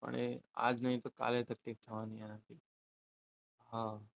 પણ એ આજ નહીં તો કાલે તકલીફ થવાની એની હમ